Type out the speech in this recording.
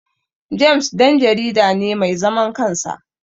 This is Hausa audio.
James Dan jarida ne mai zaman kansa